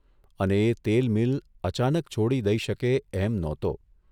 અને એ તેલ મીલ અચાનક છોડી દઇ શકે એમ નહોતો